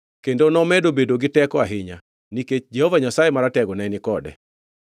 Kendo nomedo bedo gi teko ahinya, nikech Jehova Nyasaye Maratego ne ni kode.